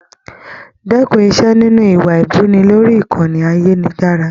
Dẹkùn Ise nínú iwa ibuni lórí ìkànnì ayelujara.